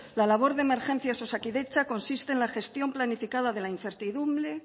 la labor de emergencias osakidetza consiste en la gestión planificada de la incertidumbre